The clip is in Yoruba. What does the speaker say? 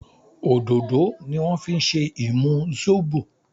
òdodo ni wan fí ṣe imú Zobo